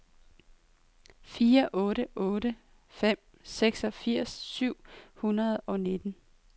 fire otte otte fem seksogfirs syv hundrede og nitten